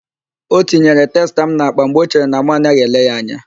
Ọ tinyere testa m n'akpa mgbe ọ chere na mụ anaghị ele ya anya.